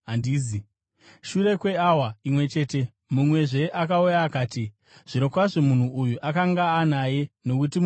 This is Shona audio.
Shure kweawa imwe chete mumwezve akauya akati, “Zvirokwazvo munhu uyu akanga anaye, nokuti muGarirea.”